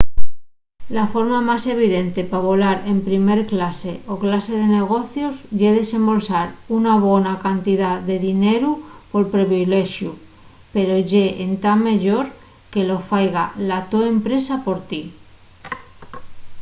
la forma más evidente pa volar en primer clase o clase de negocios ye desembolsar una bona cantidá de dineru pol privilexu pero ye entá meyor que lo faiga la to empresa por ti